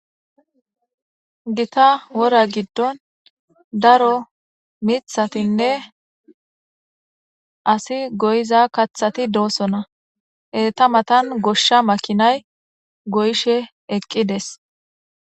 gita wora giddon daro mithatinne asi goyiza kaththati doosona eta matan goshsha makinay goyshe eqqides